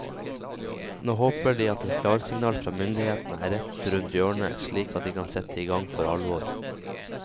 Nå håper de at et klarsignal fra myndighetene er rett rundt hjørnet, slik at de kan sette i gang for alvor.